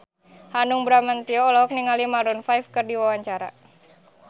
Hanung Bramantyo olohok ningali Maroon 5 keur diwawancara